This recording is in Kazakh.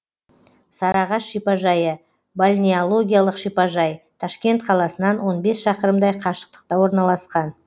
сарыағаш шипажайы бальнеологиялық шипажай ташкент қаласынан он бес шақырымдай қашықтықта орналасқан